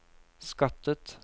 skattet